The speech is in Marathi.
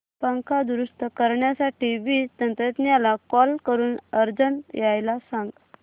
पंखा दुरुस्त करण्यासाठी वीज तंत्रज्ञला कॉल करून अर्जंट यायला सांग